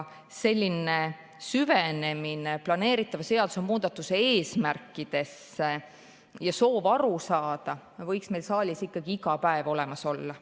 Selline süvenemine planeeritava seadusemuudatuse eesmärkidesse ja soov aru saada võiks meil saalis ikkagi iga päev olemas olla.